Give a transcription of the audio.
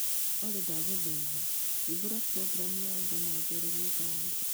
Olly ndagũthaitha hingũra programu ya uber na ũjaririe ngari